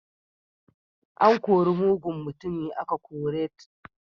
An kori mugun mutumi aka kore t